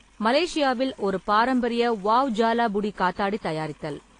மலேஷியாவில் ஒரு பாரம்பரிய வாவ் ஜாலா புடி காத்தாடி தயாரித்தல்.